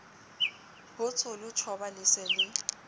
hotsholo tjhoba le se le